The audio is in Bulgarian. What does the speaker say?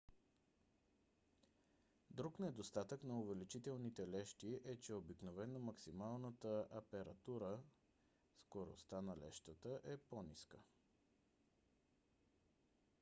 друг недостатък на увеличителните лещи е че обикновено максималната апертура скоростта на лещата е по-ниска